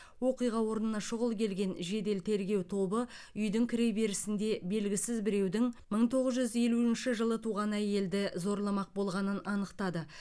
оқиға орнына шұғыл келген жедел тергеу тобы үйдің кіреберісінде белгісіз біреудің мың тоғыз жүз елуінші жылы туған әйелді зорламақ болғанын анықтады